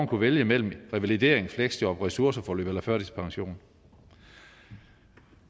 kunne vælge mellem revalidering fleksjob ressourceforløb og førtidspension